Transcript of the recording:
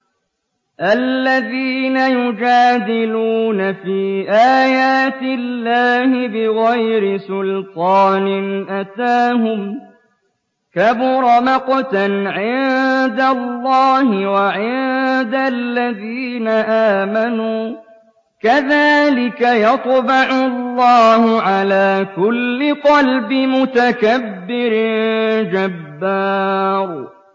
الَّذِينَ يُجَادِلُونَ فِي آيَاتِ اللَّهِ بِغَيْرِ سُلْطَانٍ أَتَاهُمْ ۖ كَبُرَ مَقْتًا عِندَ اللَّهِ وَعِندَ الَّذِينَ آمَنُوا ۚ كَذَٰلِكَ يَطْبَعُ اللَّهُ عَلَىٰ كُلِّ قَلْبِ مُتَكَبِّرٍ جَبَّارٍ